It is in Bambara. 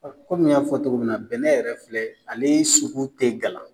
kɔmi n y'a fɔ cogo min na bɛnɛ yɛrɛ filɛ ale sugu tɛ gala